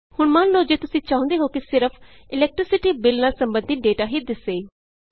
ਹੁਣ ਮੰਨ ਲਉ ਤੁਸੀਂ ਚਾਹੁੰਦੇ ਹੋ ਕਿ ਸਿਰਫ ਇਲੈਕਟ੍ਰੀਸਿਟੀ Billਨਾਲ ਸੰਬੰਧਿਤ ਡੇਟਾ ਹੀ ਦਿੱਸੇ